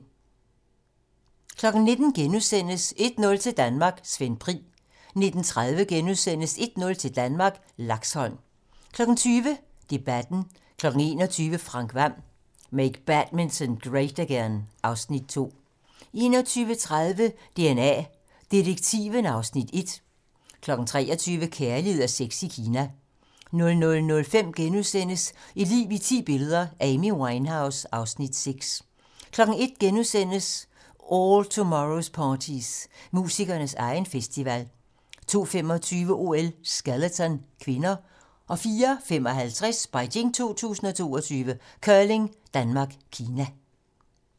19:00: 1-0 til Danmark: Svend Pri * 19:30: 1-0 til Danmark: Laxholm * 20:00: Debatten 21:00: Frank Hvam: Make Badminton Great Again (Afs. 2) 21:30: DNA Detektiven (Afs. 1) 23:00: Kærlighed og sex i Kina 00:05: Et liv i ti billeder - Amy Winehouse (Afs. 6)* 01:00: All Tomorrows parties - musikernes egen festival * 02:25: OL: Skeleton (k) 04:55: Beijing 2022: Curling: Danmark - Kina